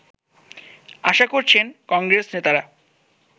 আশা করছেন কংগ্রেসনেতারা